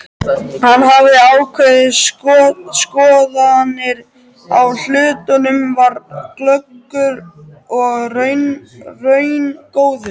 Hann hafði ákveðnar skoðanir á hlutunum, var glöggur og raungóður.